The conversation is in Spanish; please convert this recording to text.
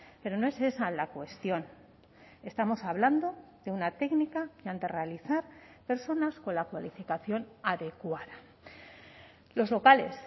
pero no es esa la cuestión estamos hablando de una técnica que han de realizar personas con la cualificación adecuada los locales